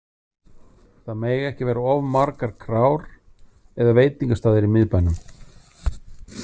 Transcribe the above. Það mega ekki vera of margar krár eða veitingastaðir í miðbænum.